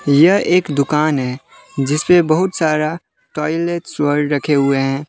यह एक दुकान है जिसपे बहुत सारा टॉयलेट रखे हुए है।